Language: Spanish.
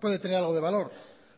puede tener algo de valor